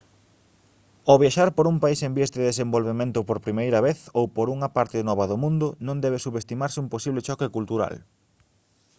ao viaxar por un país en vías de desenvolvemento por primeira vez ou por unha parte nova do mundo non debe subestimarse un posible choque cultural